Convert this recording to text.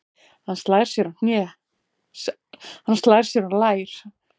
Hann slær sér á lær.